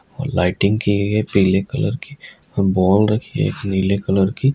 और लाइटिंग की गई है पिले कलर की और बॉल रखी है नीले कलर की।